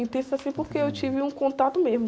Intensas, assim, porque eu tive um contato mesmo.